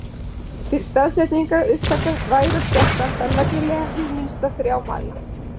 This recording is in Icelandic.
Til staðsetningar upptaka vægra skjálfta þarf nefnilega hið minnsta þrjá mæla.